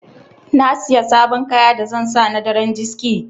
Na Siya sabon kaya da zan sa na daren diski.